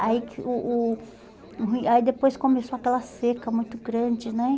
aí que o o o ruim, aí depois começou aquela seca muito grande, né?